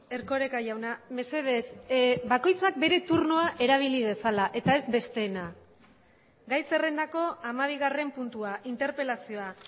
erkoreka jauna mesedez bakoitzak bere turnoa erabili dezala eta ez besteena gai zerrendako hamabigarren puntua interpelazioa